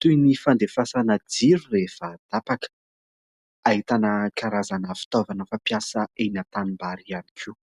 toy ny fandefasana jiro rehefa tapaka, ahitana karazana fitaovana fampiasa eny an-tanimbary ihany koa.